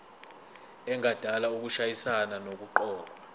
engadala ukushayisana nokuqokwa